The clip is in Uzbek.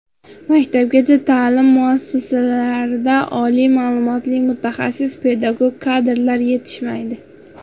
Maktabgacha ta’lim muassasalarida oliy ma’lumotli mutaxassis pedagog kadrlar yetishmaydi.